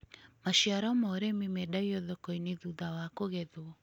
Maciaro ma ũrĩmĩ mendagio thoko-inĩ thutha wa kũgethwo.